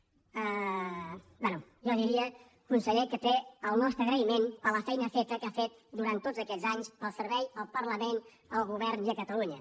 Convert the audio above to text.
bé jo diria conseller que té el nostre agraïment per la feina feta que ha fet durant tots aquests anys pel servei al parlament al govern i a catalunya